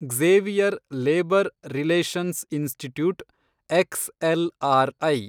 Xavier labour relations institute, XLRI